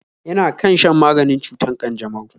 Yana kan shan maganin cutar ƙanjamau